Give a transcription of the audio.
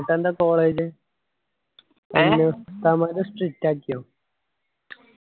എന്നിട്ടെന്താ college എല്ലാ ഉസ്താദ് മാരും strict ആക്കിയോ